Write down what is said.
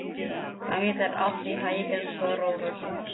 Gangi þér allt í haginn, Stórólfur.